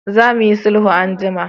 Za mu yi sulhu anjima!